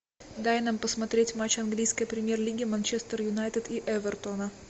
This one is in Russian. дай нам посмотреть матч английской премьер лиги манчестер юнайтед и эвертона